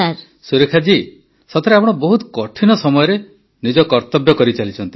ସୁରେଖା ଜୀ ସତରେ ଆପଣ ବହୁତ କଠିନ ସମୟରେ ନିଜ କର୍ତବ୍ୟ କରିଚାଲିଛନ୍ତି